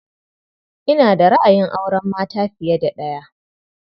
Ina da ra'ayin auren mata fiye da ɗaya.